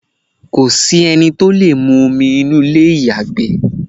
kòsí ẹni tí ó lè mu omi inú ilé ìyàgbẹ́